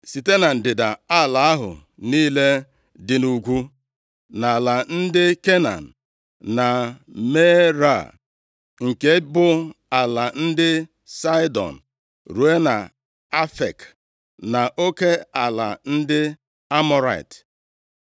site na ndịda ala ahụ niile dị nʼugwu; nʼala ndị Kenan, na Meara, nke bụ ala ndị Saịdọn, ruo nʼAfek, na oke ala ndị Amọrait;